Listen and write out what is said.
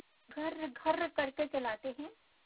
घर्रघर्र करके चलाते हैं